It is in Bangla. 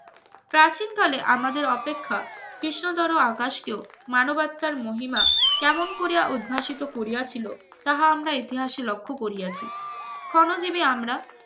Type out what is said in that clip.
প্রাচীনকালে আমাদের অপেক্ষা কৃষ্ণ ধরো আকাশকেও মানবতার মহিমা কেমন করে উদ্ভাসিত করিয়াছিল তাহা আমরা ইতিহাসে লক্ষ্য করিয়াছি ক্ষণ জিবি আমরা